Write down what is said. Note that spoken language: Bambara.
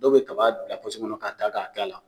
Dɔw bɛ kaba bila kɔnɔ k'a ta k'a kɛ a la